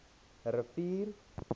rivier